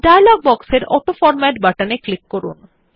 dialogue বক্সের autoformat button এ click করুন